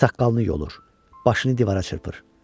Saqqalını yolur, başını divara çırpır.